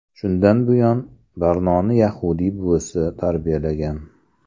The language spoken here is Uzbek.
Shundan buyon Barnoni yahudiy buvisi tarbiyalagan.